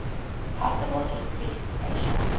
possible increased pressure